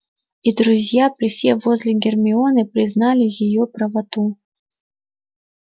и друзья присев возле гермионы признали её правоту